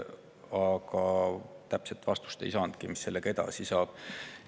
Aga ei saadudki täpset vastust, mis sellega edasi saab.